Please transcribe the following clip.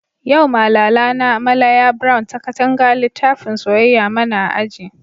Yau Malala na, Malaya brown ta Katanga litafin soyayya mana a aji.